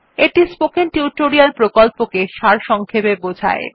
এটি spoken tutorial প্রকল্পকে সারসংক্ষেপে বোঝায়